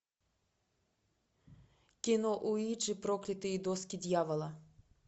кино уиджи проклятые доски дьявола